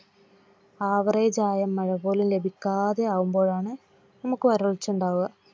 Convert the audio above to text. Average ആയ മഴ പോലും ലഭിക്കാതെ ആവുമ്പോഴാണ് നമുക്ക് വരൾച്ചയുണ്ടാകുന്നത്